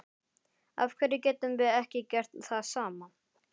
Af hverju getum við ekki gert það sama?